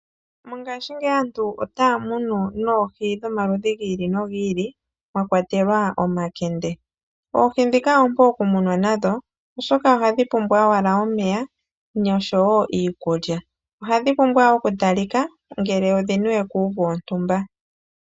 Mongashingeyi aantu otaya munu noohi dhomaludhi gi ili nogi ili, mwakwatelwa omakende. Oohi ndhika oompu okumunwa nadho, oshoka ohadhi pumbwa owala omeya nosho wo iikulya. Ohadhi pumbwa wo okutalika ngele odhi niwe kuuvu wontumba.